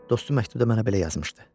Dostu məktubda mənə belə yazmışdı.